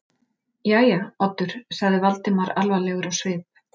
Jæja, Oddur- sagði Valdimar alvarlegur á svip.